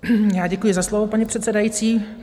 Já děkuji za slovo, paní předsedající.